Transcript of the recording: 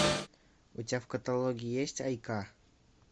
у тебя в каталоге есть айка